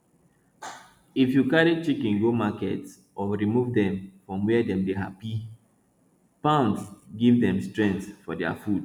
if you carry chicken go market or remove dem from where dem dey happy pound give dem strength for their food